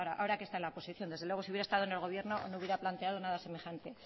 ahora que está en la oposición desde luego si hubiera estado en el gobierno no hubiera planteado nada semejante